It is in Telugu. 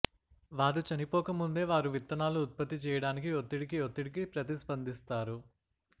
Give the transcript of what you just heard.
వారు చనిపోకముందే వారు విత్తనాలు ఉత్పత్తి చేయటానికి ఒత్తిడికి ఒత్తిడికి ప్రతిస్పందిస్తారు